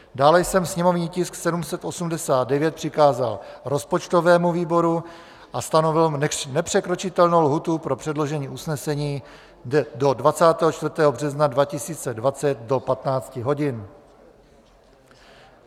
Dále jsem sněmovní tisk 789 přikázal rozpočtovému výboru a stanovil nepřekročitelnou lhůtu pro předložení usnesení do 24. března 2020 do 15 hodin.